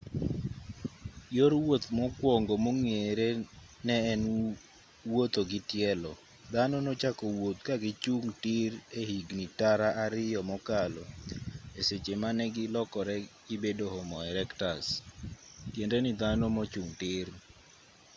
yor wuoth mokwongo mong'ere ne en wuotho gi tielo dhano nochako wuoth ka gichung' tir e higni tara ariyo mokalo e seche mane gilokore gibedo homo erectus tiende ni dhano mochung' tir